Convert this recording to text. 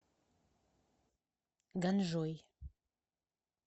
ганжой